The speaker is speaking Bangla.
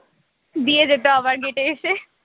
দিয়ে যেত আবার gate এ এসে